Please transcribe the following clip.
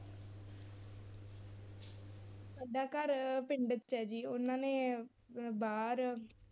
ਸਾਡਾ ਘਰ ਪਿੰਡ ਚ ਹੈ ਜੀ ਉਹਨਾਂ ਨੇ ਬਾਹਰ